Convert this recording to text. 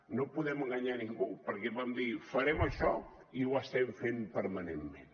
no podem enganyar ningú perquè vam dir farem això i ho estem fent permanentment